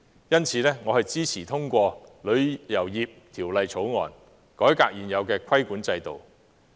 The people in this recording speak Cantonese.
因此，我支持通過《條例草案》，改革現有的規管制度。